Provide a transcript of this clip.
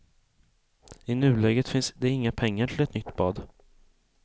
I nuläget finns det inga pengar till ett nytt bad.